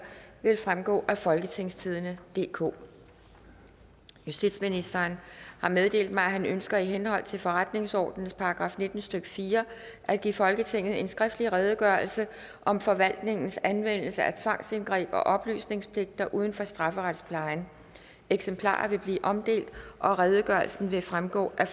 vil fremgå af folketingstidende DK justitsministeren har meddelt mig at han ønsker i henhold til forretningsordenens § nitten stykke fire at give folketinget en skriftlig redegørelse om forvaltningens anvendelse af tvangsindgreb og oplysningspligter uden for strafferetsplejen eksemplarer vil blive omdelt og redegørelsen vil fremgå af